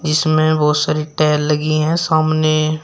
इसमें बहोत सारी टाइल लगी है सामने।